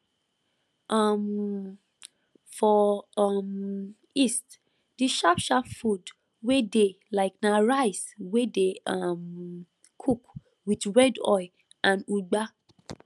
um for um east d sharp sharp food wey dey like na rice wey dey um cook with red oil and ugba